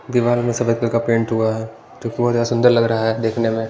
दीवार में सफेद कलर का पेंट हुआ हैं जो बहुत सुंदर लग रहा है देखने में--